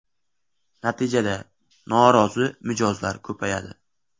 Natijada norozi mijozlar ko‘payadi.